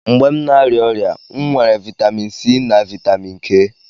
Mgbe m na-arịa ọrịa, m weere vitamin C na vitamin K.